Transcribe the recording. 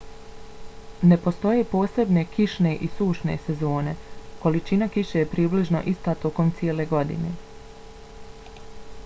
ne postoje posebne kišne i sušne sezone: količina kiše je približno ista tokom cijele godine